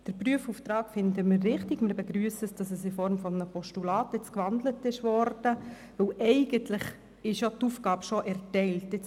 Den Prüfauftrag finden wir richtig, und wir begrüssen, dass er jetzt in Form eines Postulats gewandelt wurde, weil die Aufgabe eigentlich schon erteilt ist.